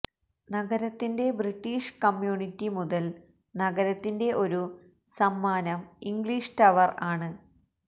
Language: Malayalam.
നഗരത്തിന്റെ ബ്രിട്ടീഷ് കമ്യൂണിറ്റി മുതൽ നഗരത്തിന്റെ ഒരു സമ്മാനം ഇംഗ്ലീഷ് ടവർ ആണ്